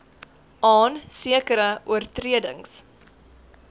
aan sekere oortredings